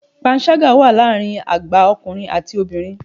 Panṣágà wà láàárín àgbà ọkùnrin àti obìnrin.